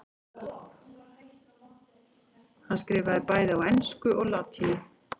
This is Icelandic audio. Hann skrifaði bæði á ensku og latínu.